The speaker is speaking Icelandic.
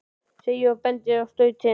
segi ég og bendi á stautinn.